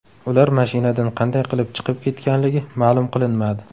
Ular mashinadan qanday qilib chiqib ketganligi ma’lum qilinmadi.